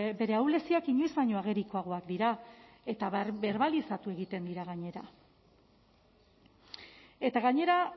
bere ahuleziak inoiz baino agerikoagoak dira eta berbalizatu egiten dira gainera eta gainera